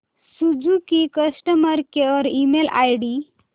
Suzuki customer care email ID